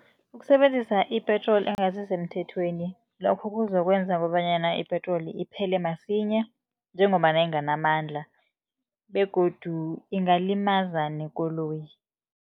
Ukusebenzisa i-petrol engasisemthethweni, lokho kuzokwenza kobanyana ipetroli iphele msinya, njengombana inganamandla begodu ingalimaza nekoloyi.